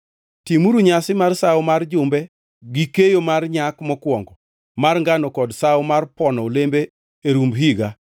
“Timuru nyasi mar Sawo mar Jumbe gi keyo mar nyak mokwongo mar ngano kod Sawo mar Pono Olembe e rumb higa.